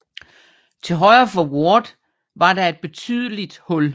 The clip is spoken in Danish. Til højre for Ward var der et betydeligt hul